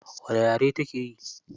Wane yare take yi?